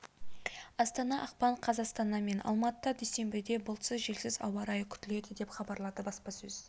астана ақпан қаз астана мен алматыда дүйсенбіде бұлтсыз желсіз ауа райы күтіледі деп хабарлады баспасөз